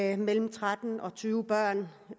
af mellem tretten og tyve børn